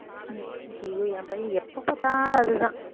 உம் ஐயையோ என் பையன் எப்பப்பார்த்தாலும் அதுதான்